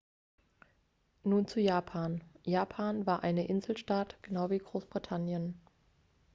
nun zu japan japan war eine inselstaat genau wie großbritannien